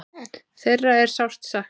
Þeirra er sárt saknað.